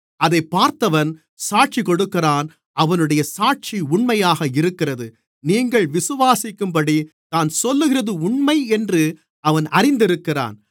அதைப் பார்த்தவன் சாட்சிகொடுக்கிறான் அவனுடைய சாட்சி உண்மையாக இருக்கிறது நீங்கள் விசுவாசிக்கும்படி தான் சொல்லுகிறது உண்மை என்று அவன் அறிந்திருக்கிறான்